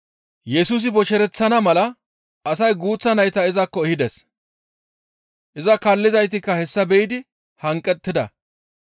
Yesusi boshereththana mala asay guuththa nayta izakko ehides. Iza kaallizaytikka hessa be7idi hanqettida.